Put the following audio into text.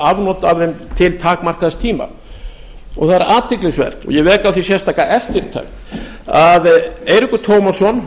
afnot af þeim til takmarkaðs tíma það er athyglisvert og ég vek á því sérstaka eftirtekt að eiríkur tómasson